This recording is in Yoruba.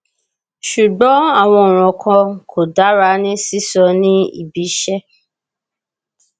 ṣùgbón àwọn ọrọ kan kò dára ní sísọ ní ibi iṣẹ